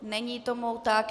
Není tomu tak.